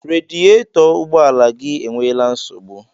Radiyetọ ụgbọ ala gi enweela nsogbụ